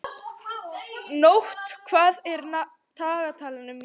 Nótt, hvað er á dagatalinu mínu í dag?